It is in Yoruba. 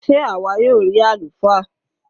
Sé àwa yóò rí àlùfáà?